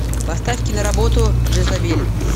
поставь киноработу джезабель